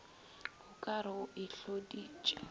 o ka re o itloditše